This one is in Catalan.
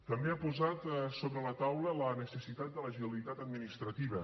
també ha posat sobre la taula la necessitat de l’agilitat administrativa